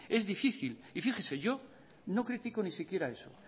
es difícil y fíjese yo no critico ni siquiera eso